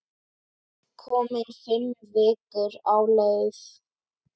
Komin fimm vikur á leið.